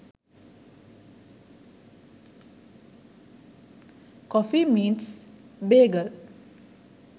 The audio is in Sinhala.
coffee meets bagel